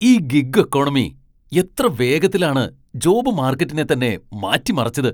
ഈ gig economy എത്ര വേഗത്തിലാണ് ജോബ് മാർക്കറ്റിനെ തന്നെ മാറ്റിമറിച്ചത്.